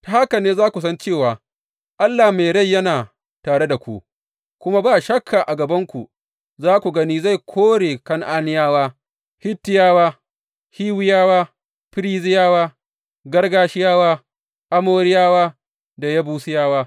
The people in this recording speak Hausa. Ta haka ne za ku san cewa Allah mai rai yana tare da ku, kuma ba shakka a gabanku za ku gani zai kore Kan’aniyawa, Hittiyawa, Hiwiyawa, Ferizziyawa, Girgashiyawa, Amoriyawa da Yebusiyawa.